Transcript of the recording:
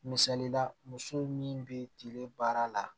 Misali la muso min bɛ tile baara la